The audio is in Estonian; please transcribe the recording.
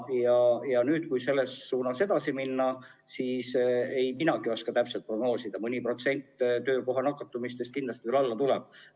Kui nüüd selles suunas edasi minna, siis ega minagi oska täpselt prognoosida, aga mõne protsendi võrra töökohal nakatunute hulk kindlasti väheneks.